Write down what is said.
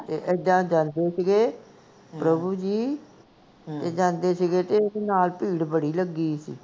ਤੇ ਇੱਦਾਂ ਡਰਦੇ ਸੀਗੇ ਪ੍ਰਭੂ ਜੀ, ਤੇ ਜਾਂਦੇ ਸੀਗੇ ਤੇ ਨਾਲ ਭੀੜ ਬੜੀ ਲਗੀ ਸੀ